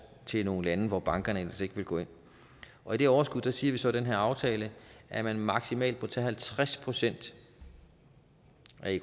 til nogle lande hvor bankerne ellers ikke ville gå ind og i det overskud siger vi så i den her aftale at man maksimalt må tage halvtreds procent